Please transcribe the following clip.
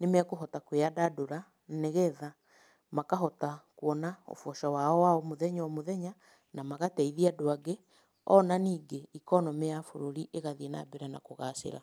nĩmekũhota kwĩyandandũra nĩgetha makahota kuona ũboco wao wa o mũthenya o mũthenya, na magateithia andũ angĩ, ona ningĩ economy ya bũrũri ĩgathiĩ na mbere na kũgacĩra.